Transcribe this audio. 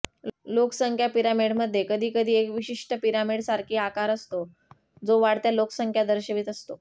लोकसंख्या पिरामिडमध्ये कधी कधी एक विशिष्ट पिरामिड सारखी आकार असतो जो वाढत्या लोकसंख्या दर्शवित असतो